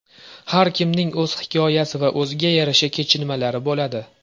Har kimning o‘z hikoyasi va o‘ziga yarasha kechinmalari bo‘ladi.